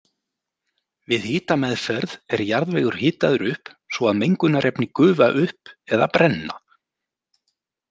Við hitameðferð er jarðvegur hitaður upp svo að mengunarefni gufa upp eða brenna.